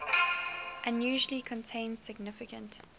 usually contain significant